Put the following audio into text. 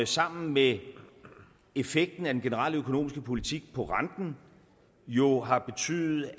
sammen med effekten af den generelle økonomiske politik på renten jo har betydet at